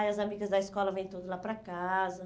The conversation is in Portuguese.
Aí as amigas da escola vêm todas lá para casa.